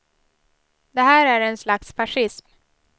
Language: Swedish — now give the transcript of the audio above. Det här är en slags fascism.